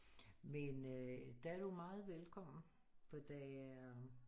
Men øh der er du meget velkommen for der er